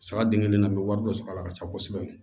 Saga den kelen na n bɛ wari dɔ sɔrɔ a la ka ca kosɛbɛ